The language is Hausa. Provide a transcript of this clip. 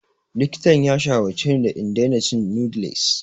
Likitan ya shawarce ni da in daina cin noodles.